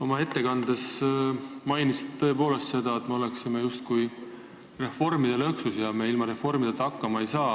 Oma ettekandes mainisite seda, et me oleme justkui reformide lõksus ja ilma reformideta me hakkama ei saa.